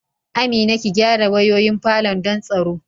Amina, ki gyara wayoyin falon don tsaro